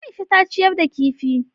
Aisha ta ciyar da kifi.